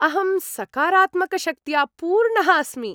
अहं सकारात्मकशक्त्या पूर्णः अस्मि।